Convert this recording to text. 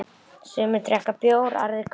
Sumir drekka bjór, aðrir kók.